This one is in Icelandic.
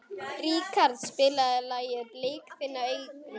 Ríkharð, spilaðu lagið „Blik þinna augna“.